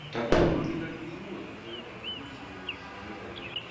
так он вроде как безвылазно же в этой больнице сидел